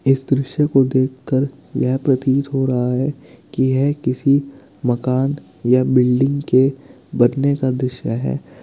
इस दृश्य को देखकर यह प्रतीत हो रहा है कि यह किसी मकान या बिल्डिंग के बनने का दृश्य है।